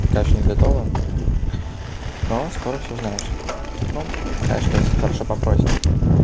та ещё не готово но скоро всё узнаешь ну конечно если хорошо попросишь